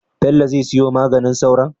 Bello zai siyo maganin sauron?